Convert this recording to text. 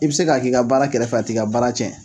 I bi se k'a k'i ka baara kɛrɛfɛ a t'i ka baara tiɲɛ.